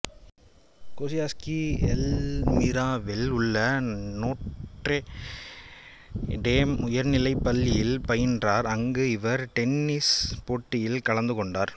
கோசியாஸ்ஸ்கி எல்மிராவில் உள்ள Notre Dame உயர்நிலைப் பள்ளியில் பயின்றார் அங்கு இவர் டென்னிஸ் போட்டியில் கலந்துகொண்டார்